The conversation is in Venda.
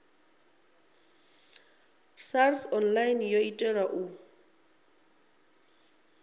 sars online yo itelwa u